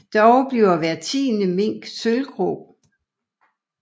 Dog bliver cirka hver tiende mink sølvgrå